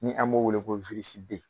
Ni an b'o wele ko wirisiden